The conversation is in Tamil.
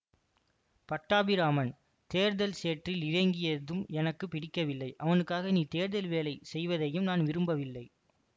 பட்டாபிராமன் தேர்தல் சேற்றில் இறங்கியதும் எனக்கு பிடிக்கவில்லை அவனுக்காக நீ தேர்தல் வேலை செய்வதையும் நான் விரும்பவில்லை